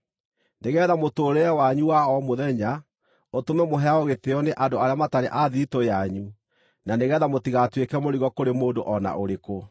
nĩgeetha mũtũũrĩre wanyu wa o mũthenya, ũtũme mũheagwo gĩtĩĩo nĩ andũ arĩa matarĩ a thiritũ yanyu, na nĩgeetha mũtigatuĩke mũrigo kũrĩ mũndũ o na ũrĩkũ.